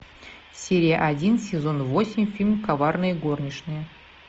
серия один сезон восемь фильм коварные горничные